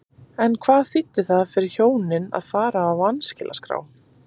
En hvað þýddi það fyrir hjónin að fara á vanskilaskrá?